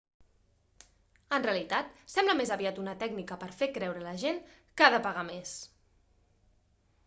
en realitat sembla més aviat una tècnica per a fer creure la gent que ha de pagar més